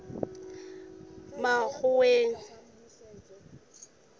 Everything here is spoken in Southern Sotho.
makgoweng